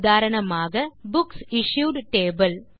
உதாரணமாக புக்சிஷ்யூட் டேபிள்